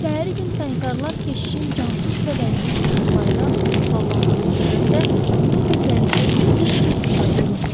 Səhəri gün sanitarlar keşişin cansız bədəninin çarpayıdan sallandığını görəndə onun gözlərində heç bir ifadə yox idi.